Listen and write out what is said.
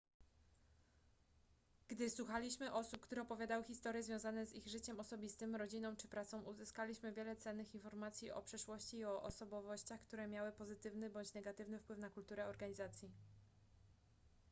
gdy słuchaliśmy osób które opowiadały historie związane z ich życiem osobistym rodziną czy pracą uzyskaliśmy wiele cennych informacji o przeszłości i o osobowościach które miały pozytywny bądź negatywny wpływ na kulturę organizacji